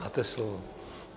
Máte slovo.